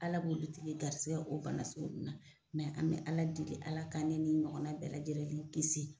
Ala b'o dutigi garisigɛ o bana sugu ninnu na mɛ an bɛ Ala deli Ala ka ne ni ɲɔgɔnna bɛɛ lajɛlen kisi